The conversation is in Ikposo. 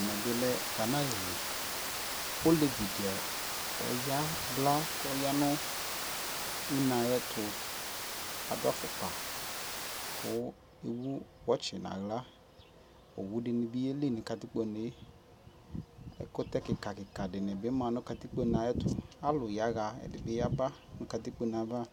ɛmɛ bi lɛ Ghana alili, ɔlɛvi di ɔya kʋ ɔya nʋ ʋnɛ ayɛtʋ, adʋ aƒʋkpa kʋ ɛwʋ watch nʋ ala, ɔwʋ dinibi yɛli nʋ katikpɔɛ, ɛkʋtɛ kika kika dinibi ma nʋ ayɛtʋ, alʋ yaha kʋ ɛdi yaba nʋ katikpɔnɛ aɣa